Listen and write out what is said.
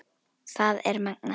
Það er magnað.